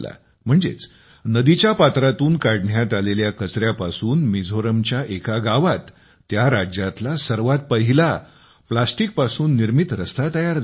म्हणजेच नदीच्या पात्रातून काढण्यात आलेल्या कचऱ्यापासून मिझोरमच्या एका गावात त्या राज्यातला सर्वात पहिला प्लॅस्टिकपासून निर्मित रस्ता तयार झाला